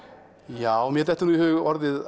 já mér dettur nú í hug orðið